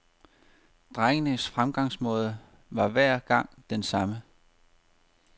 Drengens fremgangsmåde var hver gang den samme.